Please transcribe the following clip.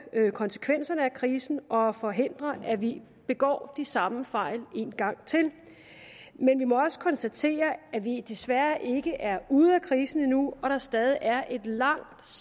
konsekvenserne af krisen og forhindre at vi begår de samme fejl en gang til men vi må også konstatere at vi desværre ikke er ude af krisen endnu og at der stadig er et langt